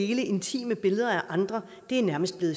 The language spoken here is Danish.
dele intime billeder af andre nærmest er